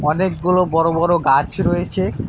অনেকগুলো বড় বড় গাছ রয়েছে।